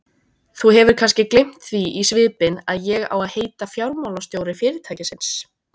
Þú hefur kannski gleymt því í svipinn að ég á að heita fjármálastjóri fyrirtækisins?